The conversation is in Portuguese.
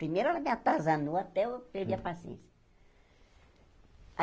Primeiro ela me atazanou até eu perder a paciência.